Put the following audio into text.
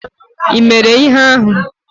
Ị mere ihe ahụ?